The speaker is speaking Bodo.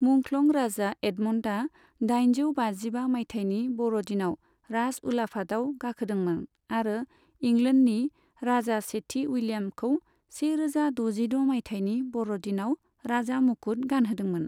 मुंख्लं राजा एडमनडा दाइनजौ बाजिबा माइथायनि बरदिनाव राज उलाफाताव गाखोदोंमोन आरो इंलेन्डनि राजा सेथि उइलियामखौ से रोजा दजिद' माइथायनि बरदिनाव राजा मुकुट गानहोदोंमोन।